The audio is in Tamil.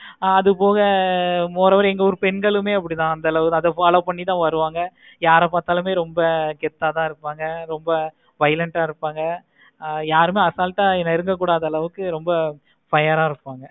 ஆஹ் அதுபோக moreover எங்க ஊரு பெண்களும் அப்படி தான் அந்த அளவுக்கு நாங்க follow பண்ணி தான் வருவாங்க யாரை பார்த்தாலும் ரொம்ப கெத்தா தான் இருப்பாங்க ரொம்ப silent ஆஹ் இருப்பாங்க ஆஹ் யாருமே assault ஆஹ் என்ன நெருங்க கூடாது அளவுக்கு fire ஆஹ் இருப்பாங்க